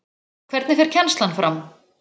Hvernig fer kennslan fram?